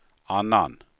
annan